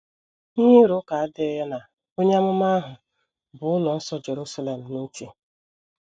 Ihe ịrụ ụka adịghị ya na onye amụma ahụ bu ụlọ nsọ Jerusalem n’uche.